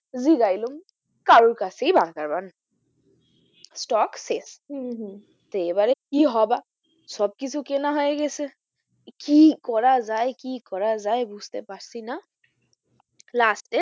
জিগাইলাম কারোর কাছেই burger bun নাই stock শেষ হম হম তো এবারে কি হবা সব কিছু কেনা হয়েগেছে কি করা যাই? কি করা যাই? বুঝতে পারছি না last এ